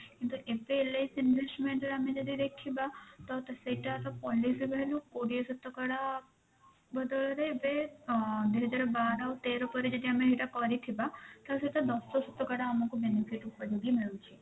କିନ୍ତୁ ଏତେ LIC investment ରେ ଆମେ ଯଦି ଦେଖିବା ତ ସେଇ ଟାର policy value କୋଡିଏ ଶତକଡା ବଦଳରେ ଏବେ ଦୁଇ ହଜାର ବାର ତେର ପରେ ଆମେ ଯଦି ଏଇଟା କରିଥିବା ତ ସେଟା ଦଶ ଶତକଡା ଆମକୁ benefit ଉପଯୋଗୀ ମିଳୁଛି।